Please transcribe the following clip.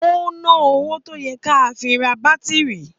Ó ná owó tó yẹ ká fi ra bátírì